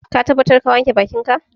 Ka tabbata ka wanke bakinka?